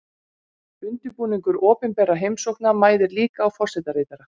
Undirbúningur opinberra heimsókna mæðir líka á forsetaritara.